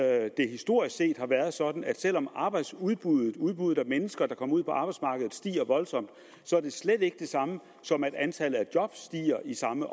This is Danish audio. at det historisk set har været sådan at selv om arbejdsudbuddet udbuddet af mennesker der kommer ud på arbejdsmarkedet stiger voldsomt er det slet ikke det samme som at antallet af job stiger i samme